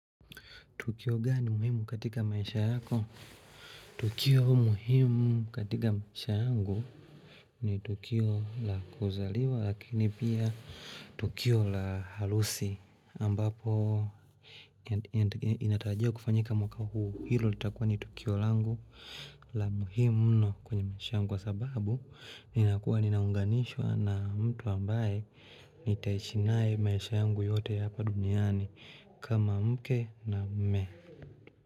Tukio gani muhimu katika maisha yako? Tukio muhimu katika maisha yangu ni Tukio la kuzaliwa lakini pia Tukio la harusi ambapo inatarajiwa kufanyika mwaka huu hilo litakuwa ni Tukio langu la muhimu mno kwenye maisha yangu kwa sababu ninakuwa ninaunganishwa na mtu ambaye nitaishi naye maisha yangu yote ya hapa duniani kama mke na mme.